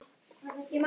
Ertu í sokkum?